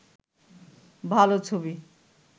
ভালো ছবি